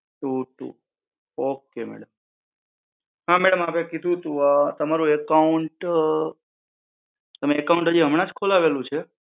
two three okay madam, હા madam આપ એ કીધું તમારું account, તમે account હાજી હમણાં જ ખોલાવેલું છે?